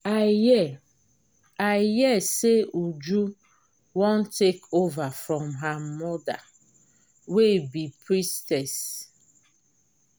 i hear i hear say uju wan take over from her mother wey be priestess